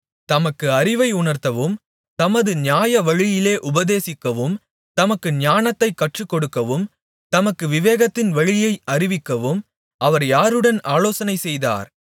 தமக்கு அறிவை உணர்த்தவும் தம்மை நியாயவழியிலே உபதேசிக்கவும் தமக்கு ஞானத்தைக் கற்றுக்கொடுக்கவும் தமக்கு விவேகத்தின் வழியை அறிவிக்கவும் அவர் யாருடன் ஆலோசனை செய்தார்